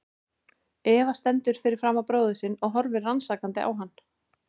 Eva stendur fyrir framan bróður sinn og horfir rannsakandi á hann.